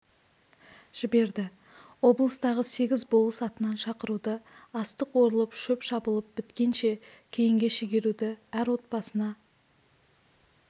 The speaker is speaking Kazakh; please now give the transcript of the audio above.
жіберді облыстағы сегіз болыс атынан шақыруды астық орылып шөп шабылып біткенше кейінге шегеруді әр отбасына